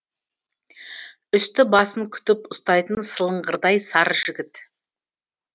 үсті басын күтіп ұстайтын сылыңғырдай сары жігіт